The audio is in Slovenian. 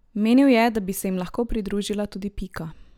Menil je, da bi se jim lahko pridružila tudi Pika.